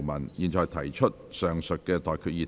我現在向各位提出上述待決議題。